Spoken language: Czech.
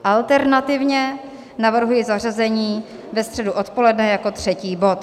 Alternativně navrhuji zařazení ve středu odpoledne jako třetí bod.